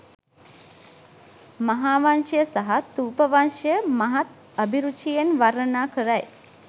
මහාවංශය සහ ථූපවංශය මහත් අභිරුචියෙන් වර්ණනා කරයි.